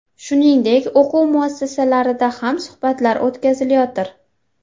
Shuningdek, o‘quv muassasalarida ham suhbatlar o‘tkazilayotir.